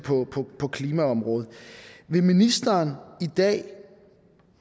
på klimaområdet vil ministeren i dag